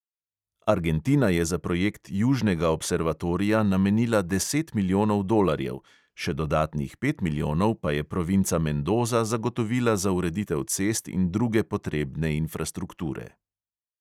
Argentina je za projekt južnega observatorija namenila deset milijonov dolarjev, še dodatnih pet milijonov pa je provinca mendoza zagotovila za ureditev cest in druge potrebne infrastrukture.